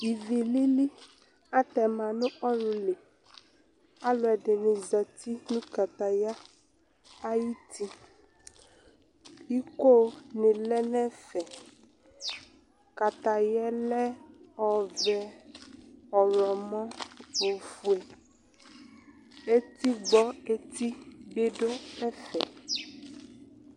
ivi lili atɛma nu ululi aluɛdɩnɩ zati nu kataya ayuti, iko nɩ lɛ nu ɛfɛ, kataya yɛ lɛ ɔvɛ, ɔwlɔmɔ , ofuǝ etigbɔ eti bɩ du ɛfɛ